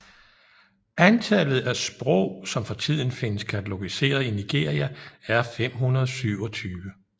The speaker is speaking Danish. Antallet af sprog som for tiden findes katalogiserede i Nigeria er 527